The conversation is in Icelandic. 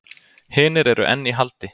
Hinir eru enn í haldi